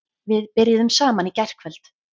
Við byrjuðum saman í gærkvöld.